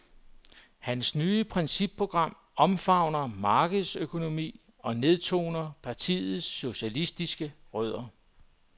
Hans nye principprogram omfavner markedsøkonomien og nedtoner partiets socialistiske rødder.